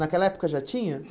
Naquela época já tinha?